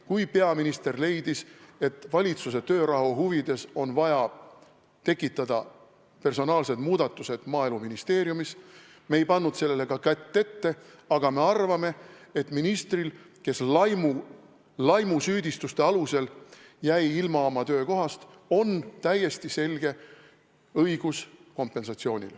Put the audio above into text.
Kui peaminister leidis, et valitsuse töörahu huvides on vaja tekitada personaalseid muudatusi Maaeluministeeriumis, siis me ei pannud sellele ka kätt ette, aga me arvame, et ministril, kes laimusüüdistuste alusel jäi oma töökohast ilma, on täiesti selge õigus saada kompensatsiooni.